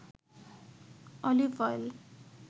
olive oil